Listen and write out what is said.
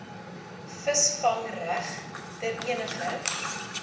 visvangreg ter eniger